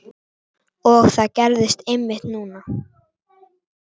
Og það gerðist einmitt núna!